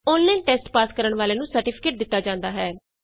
online test pass ਕਰਨ ਵਾਲਿਆਂ ਨੂੰ ਸਰਟੀਫਿਕੇਟ ਦਿਤਾ ਜਾਂਦਾ ਹੈ